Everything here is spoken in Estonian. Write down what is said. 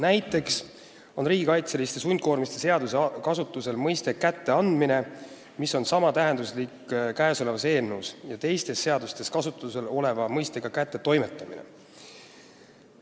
Näiteks on riigikaitseliste sundkoormiste seaduses kasutusel mõiste "kätteandmine", mis on samatähenduslik kõnealuses eelnõus ja teistes seadustes kasutusel oleva mõistega "kättetoimetamine".